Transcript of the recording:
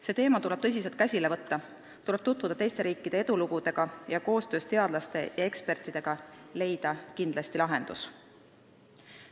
See teema tuleb tõsiselt käsile võtta, tuleb tutvuda teiste riikide edulugudega ning koostöös teadlaste ja ekspertidega leida kindlasti lahendus.